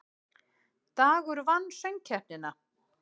Dagur vann Söngkeppnina